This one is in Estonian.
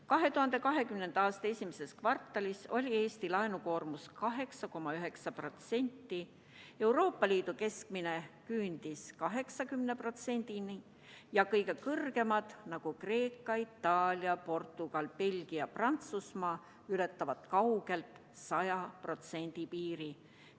2020. aasta esimeses kvartalis oli Eesti laenukoormus 8,9%, Euroopa Liidu keskmine küündis 80%‑ni ja kõige kõrgema võlakoormusega riigid, nagu Kreeka, Itaalia, Portugal, Belgia, Prantsusmaa, ületavad kaugelt 100% piiri.